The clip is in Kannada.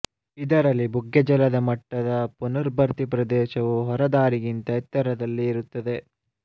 ಇದರಲ್ಲಿ ಬುಗ್ಗೆಜಲದ ಮಟ್ಟದ ಪುನರ್ಭರ್ತಿ ಪ್ರದೇಶವು ಹೊರದಾರಿಗಿಂತ ಎತ್ತರದಲ್ಲಿ ಇರುತ್ತದೆ